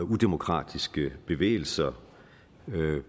den demokratiske bevægelser